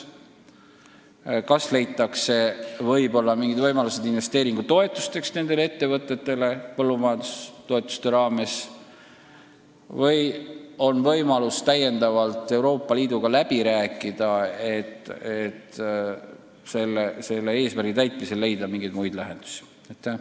Võib-olla leitakse võimalus maksta nendele ettevõtetele investeeringutoetust põllumajandustoetuste raames või saame täiendavalt Euroopa Liiduga läbi rääkida, kuidas meil oleks võimalik see eesmärk täita.